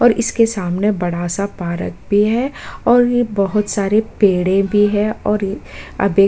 और इसके समाने बड़ा सा पारक भी है और ये बोहोत सारे पेड़े भी हैं और अभी --